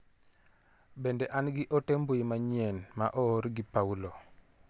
Bende an gi ote mbui manyien ma oor gi Paulo?